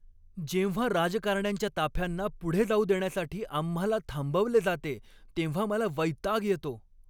जेव्हा राजकारण्यांच्या ताफ्यांना पुढे जाऊ देण्यासाठी आम्हाला थांबवले जाते तेव्हा मला वैताग येतो.